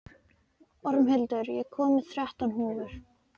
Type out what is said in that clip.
Ormhildur, ég kom með þrettán húfur!